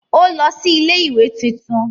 ó lọ sí ilé-ìwé tuntun.